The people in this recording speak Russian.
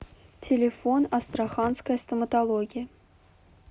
телефон астраханская стоматология